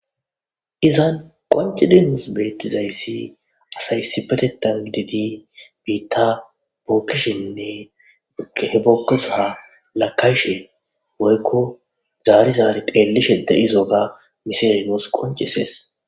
izan qonci dinnus beettizayssi asaysi betetan gididi biitta bookishenne he bookkosaha lakayshe boykko zaari zaari teellishe de7izo ga miserimos qoncisees